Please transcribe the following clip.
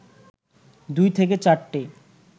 ২ থেকে ৪টি